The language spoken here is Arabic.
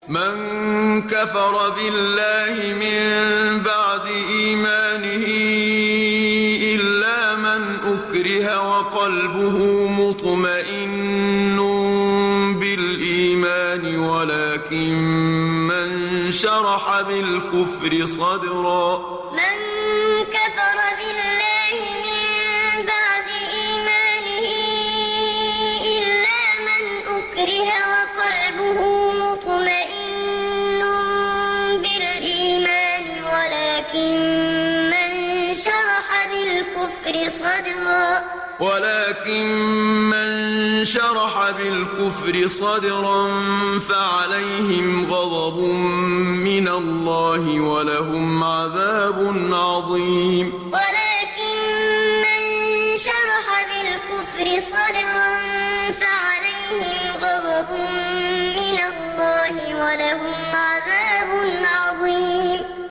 مَن كَفَرَ بِاللَّهِ مِن بَعْدِ إِيمَانِهِ إِلَّا مَنْ أُكْرِهَ وَقَلْبُهُ مُطْمَئِنٌّ بِالْإِيمَانِ وَلَٰكِن مَّن شَرَحَ بِالْكُفْرِ صَدْرًا فَعَلَيْهِمْ غَضَبٌ مِّنَ اللَّهِ وَلَهُمْ عَذَابٌ عَظِيمٌ مَن كَفَرَ بِاللَّهِ مِن بَعْدِ إِيمَانِهِ إِلَّا مَنْ أُكْرِهَ وَقَلْبُهُ مُطْمَئِنٌّ بِالْإِيمَانِ وَلَٰكِن مَّن شَرَحَ بِالْكُفْرِ صَدْرًا فَعَلَيْهِمْ غَضَبٌ مِّنَ اللَّهِ وَلَهُمْ عَذَابٌ عَظِيمٌ